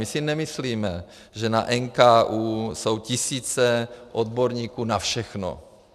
My si nemyslíme, že na NKÚ jsou tisíce odborníků na všechno.